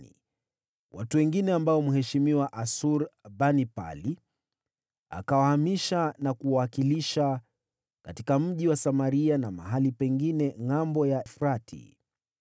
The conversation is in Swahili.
na watu wengine ambao mheshimiwa Asur-Banipali aliwahamisha na kuwakalisha katika mji wa Samaria na mahali pengine Ngʼambo ya Mto Frati.